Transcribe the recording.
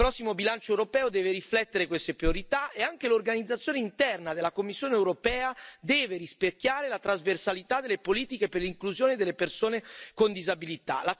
Il prossimo bilancio europeo deve riflettere queste priorità e anche l'organizzazione interna della Commissione europea deve rispecchiare la trasversalità delle politiche per l'inclusione delle persone con disabilità.